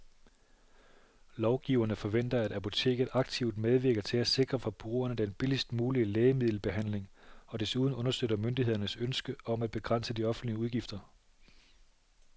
Lovgiverne forventer, at apoteket aktivt medvirker til at sikre forbrugerne den billigst mulige lægemiddelbehandling og desuden understøtter myndighedernes ønske om at begrænse de offentlige udgifter.